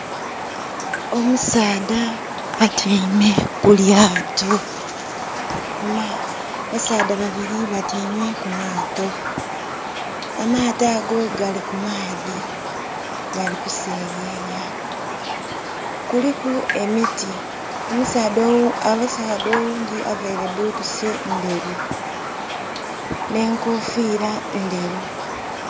Omusaadha atyaime ku lyaato, basaadha babiri batyaime ku maato. Amaato ago gali ku maadhi gali ku seyeya. Kuliku emiti. Omusaadha oghundhi avaire butusi ndheru nhe nkofira ndheru.